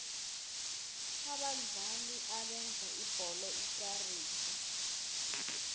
abadlali abenza ibholo ikarise